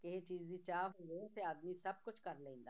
ਕਿਸੇ ਚੀਜ਼ ਦੀ ਚਾਹ ਹੋਵੇ ਤਾਂ ਆਦਮੀ ਸਭ ਕੁਛ ਕਰ ਲੈਂਦਾ